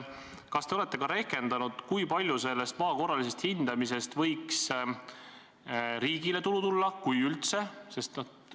Kas te olete rehkendanud, kui palju sellest maa korralisest hindamisest võiks riigile tulu tulla, kui üldse?